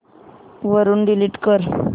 वरून डिलीट कर